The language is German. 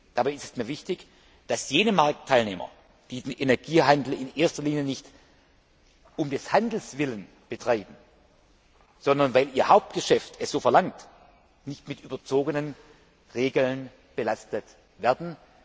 Dabei ist es mir wichtig, dass jene Marktteilnehmer, die den Energiehandel nicht in erster Linie um des Handels willen betreiben, sondern weil ihr Hauptgeschäft es so verlangt, nicht mit überzogenen Regeln belastet werden.